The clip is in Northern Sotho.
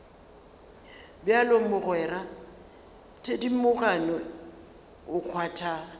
bjalo mogwera thedimogane o kgwatha